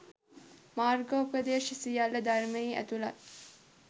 මාර්ගෝපදේශ සියල්ල ධර්මයේ ඇතුළත්.